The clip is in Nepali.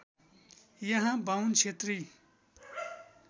यहाँ बाहुन क्षेत्री